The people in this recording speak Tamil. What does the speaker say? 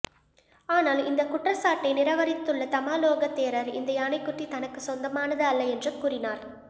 ஆனால் இந்தக் குற்றச்சாட்டை நிராகரித்துள்ள தம்மாலோக தேரர் இந்த யானைக்குட்டி தனக்கு சொந்தமானது அல்ல என்று கூறினார்